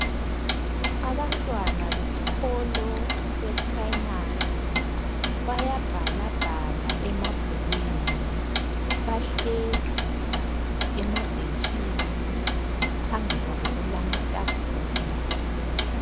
Abantwana besikolo iprimary bayabhalabhala emabhukwini bahlezi emabhentshini phambi kwabo kulamatafula